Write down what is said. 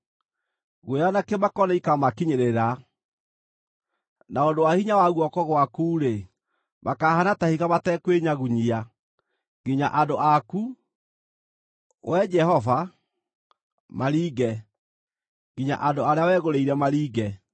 guoya na kĩmako nĩikamakinyĩrĩra. Na ũndũ wa hinya wa guoko gwaku-rĩ, makahaana ta ihiga matekwĩnyagunyia, nginya andũ aku, Wee Jehova, maringe, nginya andũ arĩa wegũrĩire maringe.